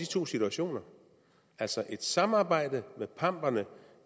to situationer altså et samarbejde med pamperne